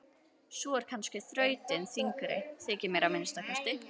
Sú er kannski þrautin þyngri, þykir mér að minnsta kosti.